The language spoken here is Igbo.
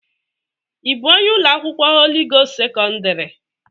Ị bụ onye ụlọ akwụkwọ Holị Gost sekọndrị?